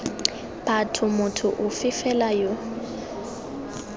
batho motho ofe fela yo